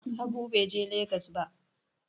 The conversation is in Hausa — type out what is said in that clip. Habu Bai ne Legas ba